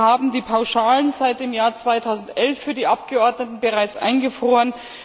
Wir haben die Pauschalen seit dem Jahr 2011 für die Abgeordneten bereits eingefroren.